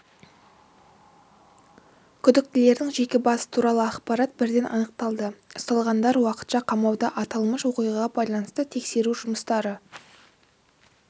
күдіктілердің жеке басы туралы ақпарат бірден анықталды ұсталғандар уақытша қамауда аталмыш оқиғаға байланысты тексеру жұмыстары